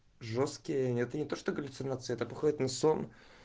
жёсткие это не то что галлюцинации так уходит на сон